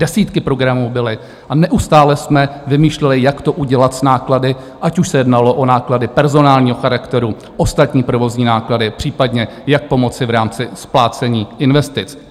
Desítky programů byly a neustále jsme vymýšleli, jak to udělat s náklady, ať už se jednalo o náklady personálního charakteru, ostatní provozní náklady, případně jak pomoci v rámci splácení investic.